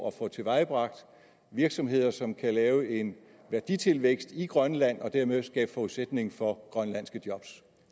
at få tilvejebragt virksomheder som kan lave en værditilvækst i grønland og dermed skabe forudsætning for grønlandske job